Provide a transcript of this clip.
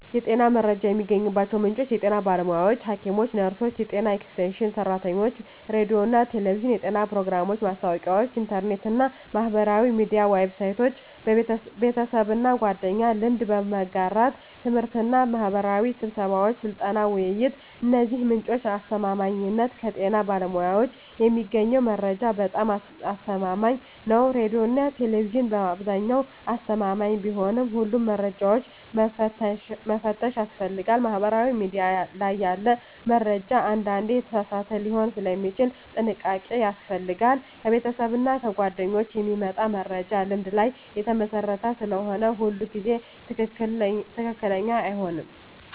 የጤና መረጃ የሚገኝባቸው ምንጮች የጤና ባለሙያዎች (ሐኪሞች፣ ነርሶች፣ የጤና ኤክስቴንሽን ሰራተኞች) ሬዲዮና ቴሌቪዥን (የጤና ፕሮግራሞች፣ ማስታወቂያዎች) ኢንተርኔት እና ማህበራዊ ሚዲያ ዌብሳይቶች) ቤተሰብና ጓደኞች (ልምድ በመጋራት) ት/ቤትና ማህበራዊ ስብሰባዎች (ስልጠና፣ ውይይት) የእነዚህ ምንጮች አስተማማኝነት ከጤና ባለሙያዎች የሚገኘው መረጃ በጣም አስተማማኝ ነው ሬዲዮና ቴሌቪዥን በአብዛኛው አስተማማኝ ቢሆንም ሁሉንም መረጃ መፈተሽ ያስፈልጋል ማህበራዊ ሚዲያ ላይ ያለ መረጃ አንዳንዴ የተሳሳተ ሊሆን ስለሚችል ጥንቃቄ ያስፈልጋል ከቤተሰብና ጓደኞች የሚመጣ መረጃ ልምድ ላይ የተመሰረተ ስለሆነ ሁሉ ጊዜ ትክክለኛ አይሆንም